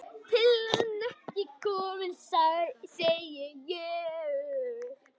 Pillan ekki komin, segi ég.